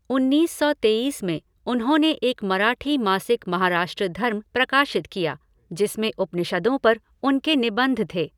उन्नीस सौ तेईस में, उन्होंने एक मराठी मासिक महाराष्ट्र धर्म प्रकाशित किया, जिसमें उपनिषदों पर उनके निबंध थे।